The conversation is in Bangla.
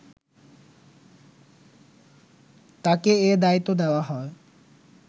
তাকে এ দায়িত্ব দেওয়া হয়